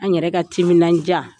An yɛrɛ ka timinadiya